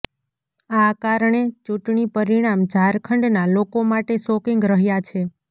આ કારણે ચૂંટણી પરિણામ ઝારખંડના લોકો માટે શોકિંગ રહ્યાં છે